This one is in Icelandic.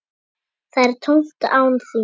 Það er tómt án þín.